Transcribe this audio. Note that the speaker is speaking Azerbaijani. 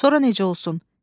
Sonra necə olsun?